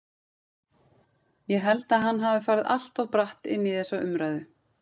Ég held að hann hafi farið allt of bratt inn í þessa umræðu.